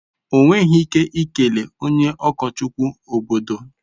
Ọ nweghị ike ikele onye ụkọchukwu obodo.